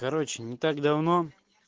короче не так давно